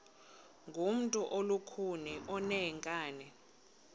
ngumntu olukhuni oneenkani